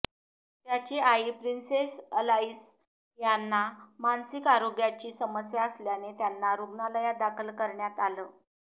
त्यांची आई princess Alice यांना मानसिक आरोग्याची समस्या असल्याने त्यांना रुग्णालयात दाखल करण्यात आलं